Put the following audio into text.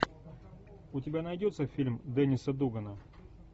у тебя найдется фильм денниса дугана